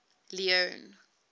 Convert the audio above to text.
leone